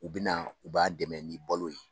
U bɛna u b'a dɛmɛ ni balo ye.